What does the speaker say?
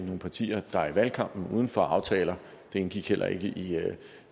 nogle partier der i valgkampen gik uden for aftalen det indgik heller ikke i